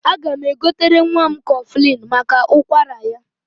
Aga m egotere nwa m kọflịn maka ụkwara ya.